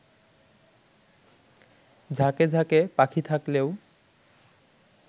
ঝাঁকে ঝাঁকে পাখি থাকলেও